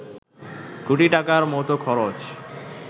কোটি টাকার মতো খরচ